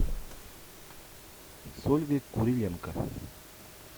с ольгой куриленко